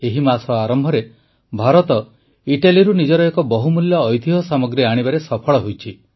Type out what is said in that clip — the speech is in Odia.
ଏହି ମାସ ଆରମ୍ଭରେ ଭାରତ ଇଟାଲୀରୁ ନିଜର ଏକ ବହୁମୂଲ୍ୟ ଐତିହ୍ୟ ସାମଗ୍ରୀ ଆଣିବାରେ ସଫଳ ହୋଇଛେ